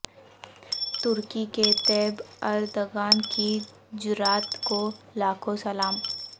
ترکی کے Tayyip Erdogan کی جرات کو لاکھو ں سلام